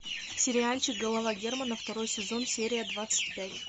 сериальчик голова германа второй сезон серия двадцать пять